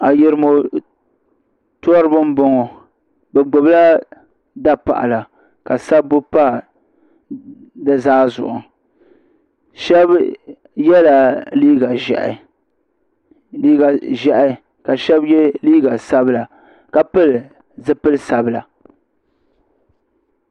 Ayirimo tɔriba n bɔŋo bi gbubi la dapaɣala ka sabbu pa di zaa zuɣu shɛba yɛla liiga ʒiɛhi ka shɛba yɛ liiga sabila ka pili zipili sabila.